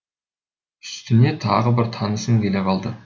үстіне тағы бір танысым келе қалды